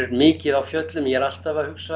mikið á fjöllum ég er alltaf að hugsa